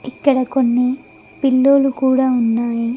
ఇక్కడ కొన్ని పిల్లో లు కూడా ఉన్నాయి.